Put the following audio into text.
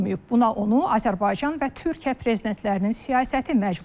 Buna onu Azərbaycan və Türkiyə prezidentlərinin siyasəti məcbur edib.